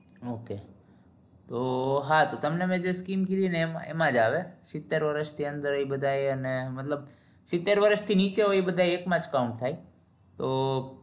Okay તો હા તમને જે scheme કીધી એમાં જ આવે સીતેર વર્ષ ની અદર એ બધા એ ને મતલબ સીતેર વર્ષ થી નીજે હોયએ એકમાં counter થાય